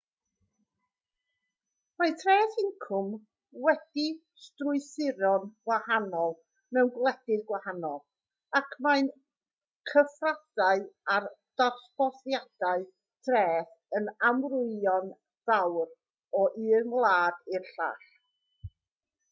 mae treth incwm wedi'i strwythuro'n wahanol mewn gwledydd gwahanol ac mae'r cyfraddau a'r dosbarthiadau treth yn amrywio'n fawr o un wlad i'r llall